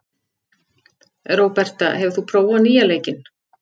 Róberta, hefur þú prófað nýja leikinn?